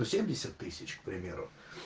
ну семьдесят тысяч к примеру